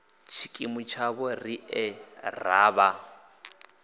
tshikimu tshavho riṋe r avha